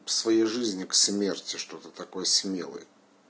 в своей жизни к смерти что ты такой смелый